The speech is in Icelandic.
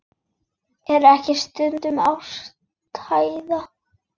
Er ekki stundum ástæða til?